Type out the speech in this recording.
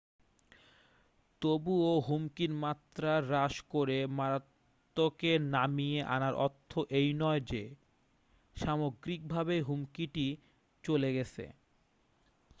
তবুও হুমকির মাত্রা হ্রাস করে মারাত্নকে নামিয়ে আনার অর্থ এই নয় যে সামগ্রিকভাবে হুমকিটি চলে গেছে